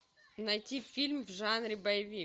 найти фильм в жанре боевик